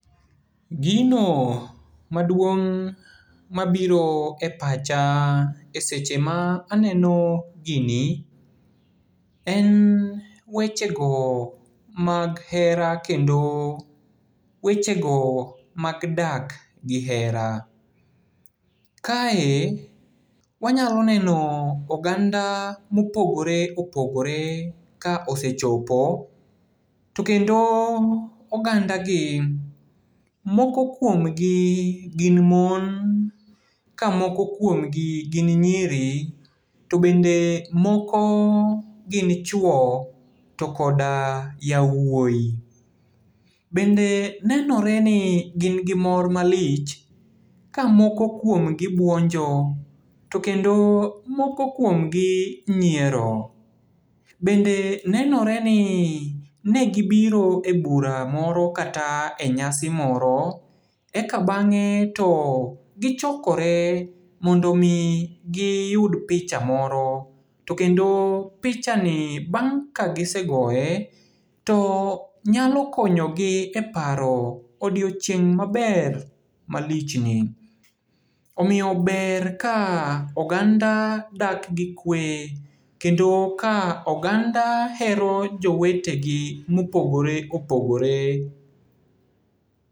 Gino maduong' mabiro e pacha e seche ma aneno gini, en wechego mag hera kendo wechego mag dak gi hera. Kae, wanyalo neno oganda mopogore opogore ka osechopo. To kendo oganda gi, moko kuomgi gin mon, ka moko kuomgi gin nyiri, to bende moko gin chuo to koda yauoi. Bende nenoreni gin gi mor malich, ka moko kuomgi buonjo, to kendo moko kuomgi nyiero. Bende nenoreni negibiro e bura moro kata e nyasi moro eka bang'e to gichokore mondo mi giyud picha moro, to kendo pichani bang' ka gisegoye to nyalo konyogi e paro odiochieng' maber malichni. Omiyo ber ka oganda dak gi kwe, kendo ka oganda hero jowetegi mopogore opogore.